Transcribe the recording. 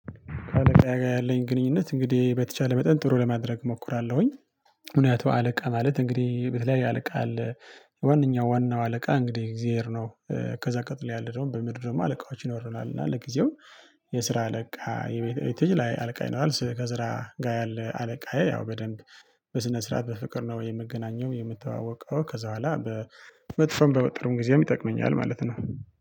አአለቃ ጋር ያለኝ ግንኙነት እንግዲህ በተቻለ መጠን ጥሩ ለማድረግ እሞክራለሁኝ። ምክንያቱ አለቃ ማለት እንግዲህ በተለያየ አለቃ አለ ዋነኛው ዋናው አለቃ እንግዲህ እግዜር ነው ከዛ ቀጥሎ ያለው ደግሞ በምድር ደግሞ አለቃዎች ይኖረናል። እና ለጊዜው የስራ አለቃ፣ የቤተ የተለያየ አለቃ ይኖራል ስራዬ ከስራ ጋር ያለ አለቃዬ ያው በደንብ በስነ ስርዓት በፍቅር ነው የምገኘው የምተዋወቀው ከዛ በኋላ በመጥፎም በመጥሩም ጊዜም ይጠቅመኛል። ማለት ነው